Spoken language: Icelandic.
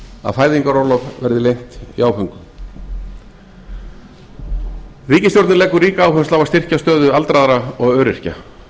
að fæðingarorlof verði lengt í áföngum ríkisstjórnin leggur ríka áherslu á að styrkja stöðu aldraðra og öryrkja